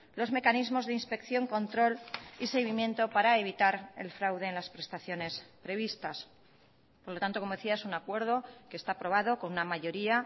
los mecanismos de inspección control y seguimiento para evitar el fraude en las prestaciones previstas por lo tanto como decía es un acuerdo que está aprobado con una mayoría